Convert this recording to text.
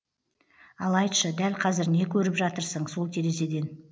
ал айтшы дәл қазір не көріп жатырсың сол терезеден